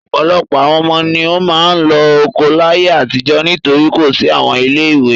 Ọ̀pọ̀lọpọ̀ ọmọ ni ó máa ń lọ oko láyé àtijọ́ nítorí kò sí àwọn ilé-ìwé.